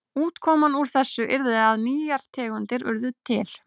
Útkoman úr þessu yrði að nýjar tegundir yrðu til.